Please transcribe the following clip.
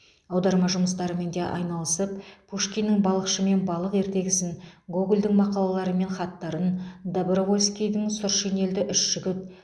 аударма жұмыстарымен де айналысып пушкиннің балықшы мен балық ертегісін гогольдің мақалалары мен хаттарын добровольскийдің сұр шинельді үш жігіт